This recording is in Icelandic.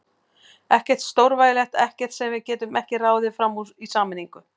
Ekkert stórvægilegt, ekkert sem við getum ekki ráðið fram úr í sameiningu.